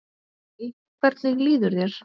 Hæ, hvernig líður þér?